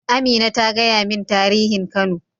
Amina ta gaya min tarihin kano.